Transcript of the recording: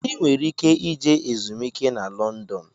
ị nwere ike ije ezumiike na London.